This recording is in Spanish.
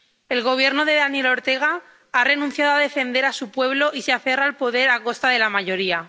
El Gobierno de Daniel Ortega ha renunciado a defender a su pueblo y se aferra al poder a costa de la mayoría.